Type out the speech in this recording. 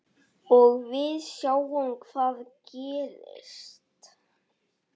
Og við sjáum hvað gerist.